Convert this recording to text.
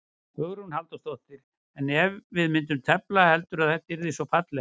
Hugrún Halldórsdóttir: En ef við myndum tefla, heldurðu að þetta yrði svona fallegt?